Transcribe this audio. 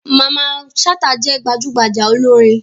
Mamman Shata je gbajugbaja olorin.